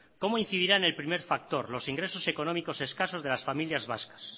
cómo incidirá el primer factor los ingresos económicos escasos de las familias vascas